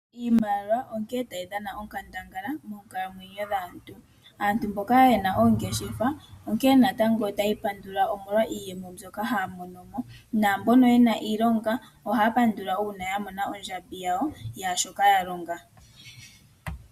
Iimaliwa onkene tayi dhana onkandangala moonkalamwenyo dhaantu. Aantu mboka ye na oongeshefa, otaya ipandula omolwa iiyemo mbyoka haya mono mo. Mboka ye na iilonga ohaya pandula kondjambi yawo yaashoka ya longa.